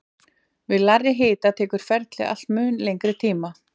Við lægri hita tekur ferlið allt mun lengri tíma.